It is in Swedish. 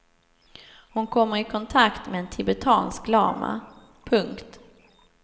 Hon kommer i kontakt med en tibetansk lama. punkt